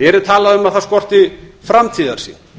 hér er talað um að það skorti framtíðarsýn